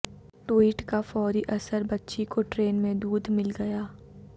tweet کا فوری اثر بچی کو ٹرین میں دودھ مل گیا